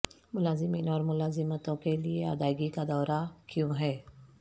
ملازمین اور ملازمتوں کے لئے ادائیگی کا دورہ کیوں ہے